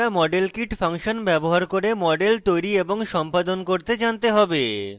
model kit function ব্যবহার করে models তৈরী এবং সম্পাদন করতে জানতে হবে